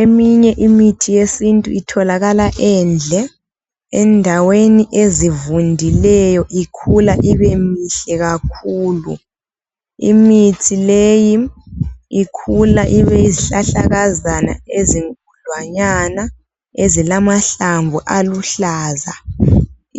Eminye imithi yesintu itholakala endle endaweni ezivundileyo ikhula ibe mihle kakhulu. Imithi leyi ikhula ibe yizihlahlakazana ezinkudlwanyana ezilamahlamvu aluhlaza